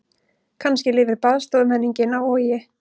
Kannski lifir baðstofumenningin á Vogi.